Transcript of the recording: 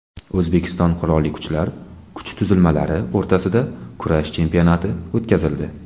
O‘zbekiston Qurolli Kuchlar kuch tuzilmalari o‘rtasida kurash chempionati o‘tkazildi .